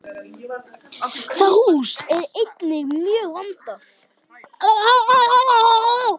Það hús er einnig mjög vandað.